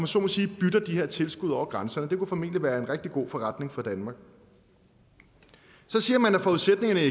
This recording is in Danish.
så må sige bytter de her tilskud over grænserne det vil formentlig være en rigtig god forretning for danmark så siger man at forudsætningerne i